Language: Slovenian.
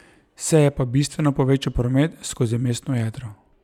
Se je pa bistveno povečal promet skozi mestno jedro.